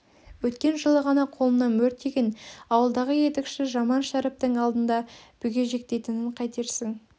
өткен жылы ғана қолына мөр тиген ауылдағы етікші жаман шәріптің алдыңда бүгежектейтінін қайтерсің